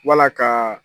Wala ka